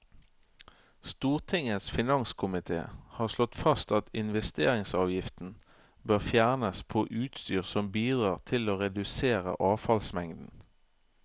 Stortingets finanskomité har slått fast at investeringsavgiften bør fjernes på utstyr som bidrar til å redusere avfallsmengden.